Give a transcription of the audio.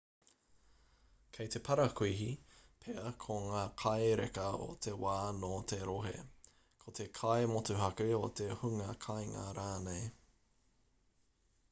kei te parakuihi pea ko ngā kai reka o te wā nō te rohe ko te kai motuhake o te hunga kāinga rānei